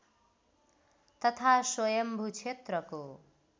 तथा स्वयम्भू क्षेत्रको